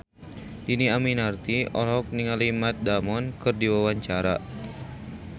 Dhini Aminarti olohok ningali Matt Damon keur diwawancara